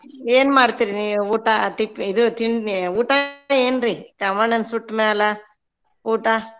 ಏನ್ ಮಾಡ್ತೀರ್ರಿ ನೀವ್ ಊಟ ಟಿಫ್~ ಇದು ತಿಂ~ ಊಟ ಏನ್ರಿ ಕಾಮಣ್ಣನ್ ಸುಟ್ಮ್ಯಾಲ ಊಟ?